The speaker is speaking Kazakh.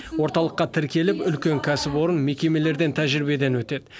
орталыққа тіркеліп үлкен кәсіпорын мекемелерден тәжірибеден өтеді